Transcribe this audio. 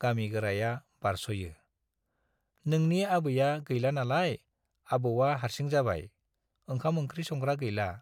गामि गोराया बारस'यो, नोंनि आबैया गैला नालाय, आबौवा हार्सि जाबाय, ओंखाम ओंखि संग्रा गैला।